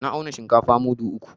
Na auna shinkafa mudu uku.